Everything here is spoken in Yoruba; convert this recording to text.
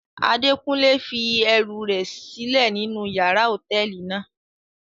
Adekunle fi ẹru rẹ silẹ ninu yàrá hotẹẹli náa